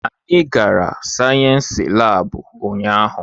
Anyị gara sayensị laabu ụnyaahụ.